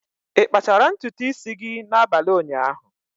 Ị kpachara ntutu isi gị n'abalị ụnyaahụ?